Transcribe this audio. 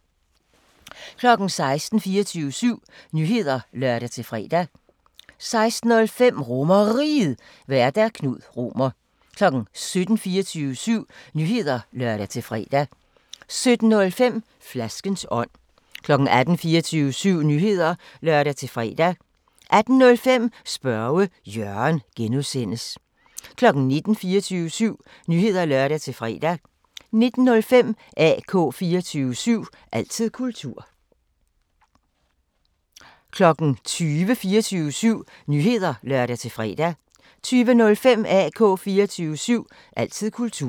16:00: 24syv Nyheder (lør-fre) 16:05: RomerRiget, Vært: Knud Romer 17:00: 24syv Nyheder (lør-fre) 17:05: Flaskens ånd 18:00: 24syv Nyheder (lør-fre) 18:05: Spørge Jørgen (G) 19:00: 24syv Nyheder (lør-fre) 19:05: AK 24syv – altid kultur 20:00: 24syv Nyheder (lør-fre) 20:05: AK 24syv – altid kultur